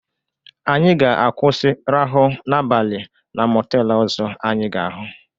Anyị ga-akwụsị rahụ n'abalị na mọteelu ọzọ anyị ga-ahụ.